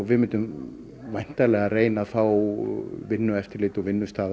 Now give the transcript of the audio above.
við myndum væntanlega reyna að fá vinnueftirlit og